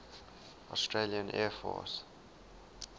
australian air force